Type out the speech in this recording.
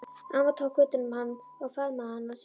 Amma tók utan um hann og faðmaði hann að sér.